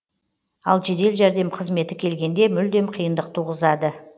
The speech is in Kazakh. ал жедел жәрдем қызметі келгенде мүлдем қиындық туғызады